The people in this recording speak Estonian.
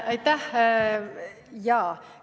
Aitäh!